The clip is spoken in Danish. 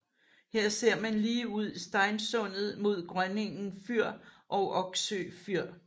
Her ser man lige ud Steinsundet mod Grønningen fyr og Oksø fyr